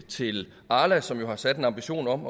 til arla som jo har sat en ambition om